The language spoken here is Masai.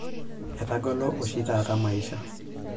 Etagolo oshi taata maisha.